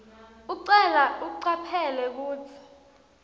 ucelwa ucaphele kutsi